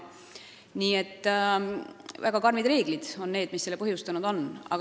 Nii et väga karmid reeglid on selle põhjustanud.